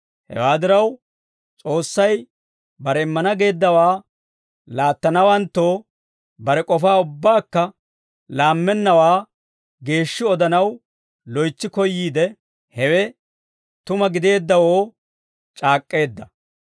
Hewaa diraw, S'oossay bare immana geeddawaa laattanawanttoo bare k'ofaa ubbaakka laammennawaa geeshshi odanaw loytsi koyyiide, hewe tuma gideeddawoo c'aak'k'eedda.